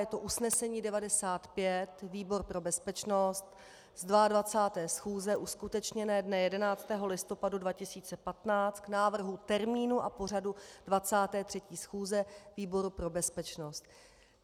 Je to usnesení 95. výboru pro bezpečnost z 22. schůze uskutečněné dne 11. listopadu 2015 k návrhu termínu a pořadu 23. schůze výboru pro bezpečnost.